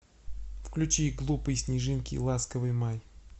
включи глупые снежинки ласковый май